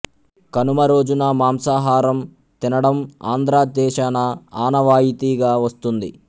కనుమ రోజున మాంసాహారం తినడం ఆంధ్ర దేశాన ఆనవాయితీగా వస్తూంది